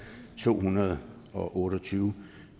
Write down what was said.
to hundrede og otte og tyve